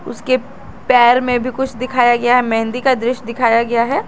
उसके पैर में भी कुछ दिखाया गया है मेहंदी का दृश्य दिखाया गया है।